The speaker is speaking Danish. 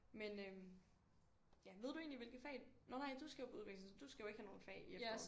Men øh ja ved du egentlig hvilke fag? Nå nej du skal jo på udveksling så du skal jo ikke have nogle fag i efteråret